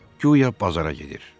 Guya bazara gedir.